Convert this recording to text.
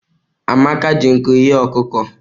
Amaka ji nkụ ghe ọkụkọ.